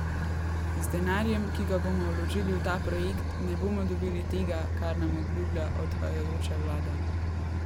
Z denarjem, ki ga bomo vložili v ta projekt ne bomo dobili tega, kar nam obljublja odhajajoča vlada.